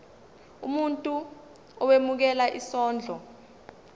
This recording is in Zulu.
umuntu owemukela isondlo